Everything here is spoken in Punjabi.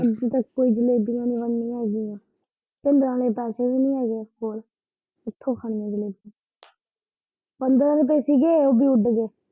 ਉੱਤੋਂ ਜਲੇਬੀਆਂ ਮੰਗਾਣੀਆਂ ਹੈਗੀਆ ਤੇ ਨਾਲੇ ਪੈਸੇ ਨੀ ਹੈਗੇ ਕੋਲ ਤੇ ਕਿੱਥੋਂ ਖਾਣੀਆ ਜਲੇਬੀਆਂ ਪੰਦਰਾਂ ਰੁਪਏ ਸੀਗੇ ਓਵੀਂ ਉੱਡਗੇ।